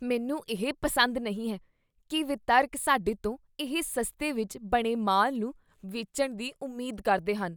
ਮੈਨੂੰ ਇਹ ਪਸੰਦ ਨਹੀਂ ਹੈ ਕੀ ਵਿਤਰਕ ਸਾਡੇ ਤੋਂ ਇਹ ਸਸਤੇ ਵਿੱਚ ਬਣੇ ਮਾਲ ਨੂੰ ਵੇਚਣ ਦੀ ਉਮੀਦ ਕਰਦੇ ਹਨ।